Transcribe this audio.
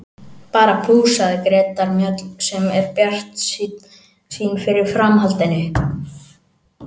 Bara plús, sagði Greta Mjöll sem er bjartsýn fyrir framhaldinu.